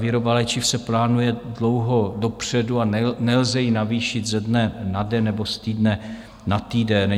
Výroba léčiv se plánuje dlouho dopředu a nelze ji navýšit ze dne na den nebo z týdne na týden.